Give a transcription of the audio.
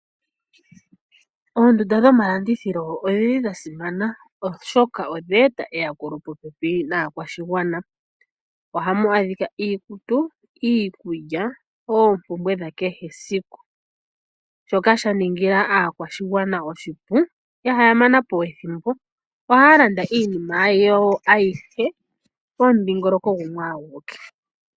Oondunda dho malandithilo odhili shasimana oshoka odheta eya kulo popepi naakwashigwana. Ohamu adhika iikutu, iikulya ompumbwe dha kehe esiku shoka sha ningila aakwashigwana oshipu , ihaya manapo ethimbo ohaya landa iinima yo ayihe pomudhigoloko gumwe awike.